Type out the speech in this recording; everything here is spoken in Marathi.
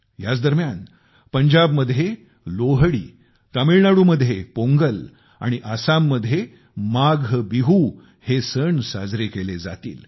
याचदरम्यान पंजाबमध्ये लोहड़ी तामिळनाडूमध्ये पोंगल आणि आसाममध्ये माघबिहू हे सण साजरे केले जातील